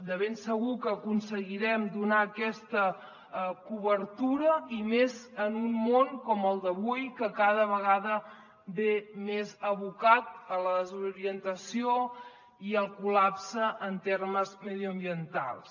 de ben segur que aconseguirem donar aquesta cobertura i més en un món com el d’avui que cada vegada ve més abocat a la desorientació i al col·lapse en termes mediambientals